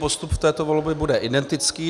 Postup v této volbě bude identický.